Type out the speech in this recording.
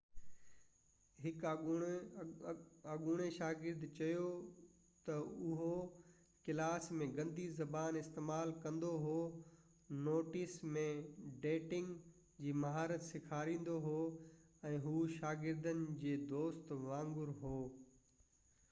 هڪ اڳوڻي شاگرد چيو ته هو ڪلاس ۾ گندي زبان استعمال ڪندو هو نوٽس ۾ ڊيٽنگ جي مهارت سيکاريندو هو ۽ هو شاگردن جي دوست وانگر هو